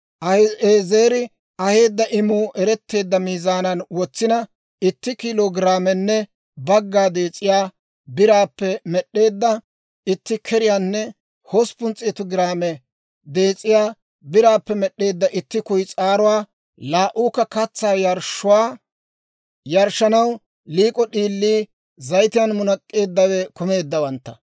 Ahi'eezeri aheedda imuu eretteedda miizaanan wotsina, itti kiilo giraamenne bagga dees'iyaa biraappe med'd'eedda itti keriyaanne hosppun s'eetu giraame dees'iyaa biraappe med'd'eedda itti kuyis'aaruwaa, laa"uukka katsaa yarshshuwaa yarshshanaw liik'o d'iilii, zayitiyaan munak'k'eeddawe kumeeddawantta;